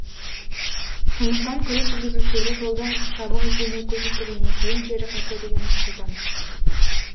сондықтан көлік жүргізушілері жолдың жабық екеніне көз жеткізгеннен кейін кері қайтса деген өтініш айтамыз